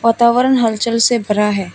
वातावरण हलचल से भरा है।